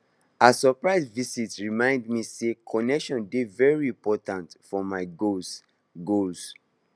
her surprise visit remind me say connection dey very important for my goals goals